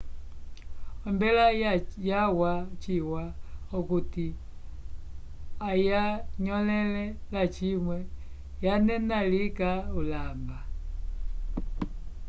ombela yawa chiwa okuti ayanyõlele lacimwe yanena lika ulamba